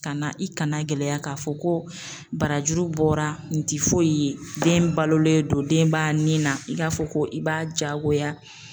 Ka na i kana gɛlɛya k'a fɔ ko barajuru bɔra nin ti foyi ye, den balolen don, den ba ni na, i k'a fɔ k'i b'a jagoya